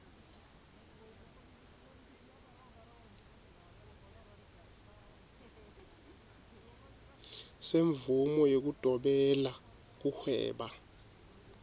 semvumo yekudobela kuhweba